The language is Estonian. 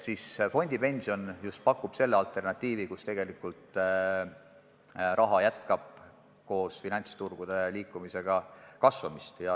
Aga fondipension pakub just sellist alternatiivi, mille korral finantsturgude liikudes raha tegelikult jätkab kasvamist.